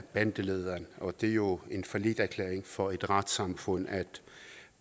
bandelederen og det er jo en falliterklæring for et retssamfund at